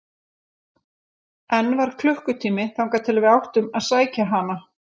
Enn var klukkutími þangað til við áttum að sækja hana.